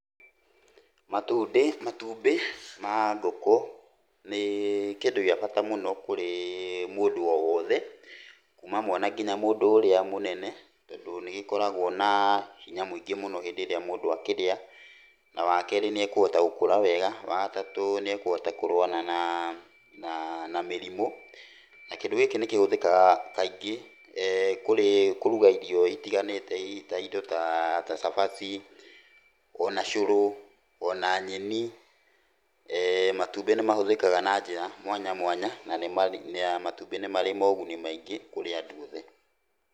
Matundĩ matumbĩ ma ngĩkũ nĩ kĩndũ gĩa bata mũno kũrĩ mũndũ o wothe, kuma mwana kinya mũndũ ũrĩa mũnene. Tondũ nĩgĩkoragwo na hinya mũingĩ mũno hĩndĩ ĩrĩa mũndũ akĩrĩa. Na wakerĩ nĩekũhota gũkũra wega. Wagatatũ nĩekũhota kũrũana naa na na mĩrimũ, na kĩndũ gĩkĩ nĩkĩhũthĩkaga kaingĩ kũruga irio itiganĩte. Ta indo ta cabaci, ona cũrũ, ona nyeni, matumbĩ nĩmahũthĩkaga na njĩra mwanya mwanya na matumbĩ nĩ marĩ ma ũguni maingĩ kũrĩ andũ othe.